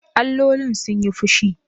Allolin sun yi fushi?